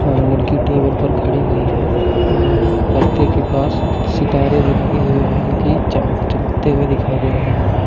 और लड़की टेबल पर खड़ी हुई है और परदे के पास सितारे भी लगे हुए हैं जो कि चमक चमकते हुए दिखाई दे रहे हैं।